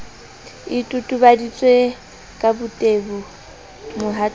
e totobaditswe ka botebo mohatong